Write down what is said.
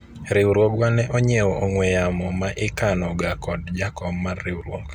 riwruogwa ne onyiewo ong'we yamo ma ikano ga kod jakom mar riwruok